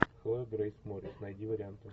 хлоя грейс морец найди варианты